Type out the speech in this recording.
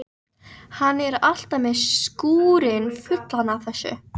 Hann er alltaf með skúrinn fullan af þessu.